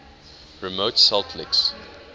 remote salt licks